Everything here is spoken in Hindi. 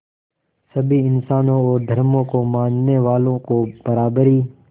सभी इंसानों और धर्मों को मानने वालों को बराबरी